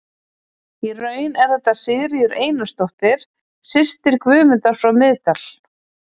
Í raun er þetta Sigríður Einarsdóttir, systir Guðmundar frá Miðdal.